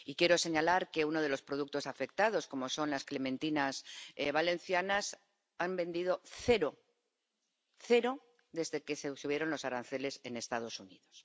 Y quiero señalar que, de uno de los productos afectados, las clementinas valencianas, se han vendido cero —cero— desde que se subieron los aranceles en los Estados Unidos.